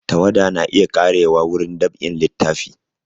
Tawada na iya ƙarewa wurin dab'in littafi